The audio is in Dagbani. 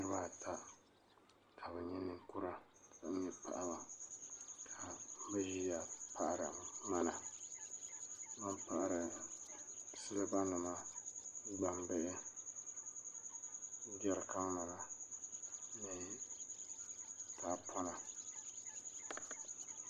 Niriba ata ka bɛ nyɛ ninkura ka nyɛ paɣaba ka bɛ ʒia baɣari ŋmana bɛ paɣari siliba nima gbambihi jerikan nima ni tahapona.